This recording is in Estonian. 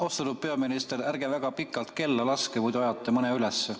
Austatud peaminister, ärge väga pikalt kella laske, muidu ajate mõne ülesse.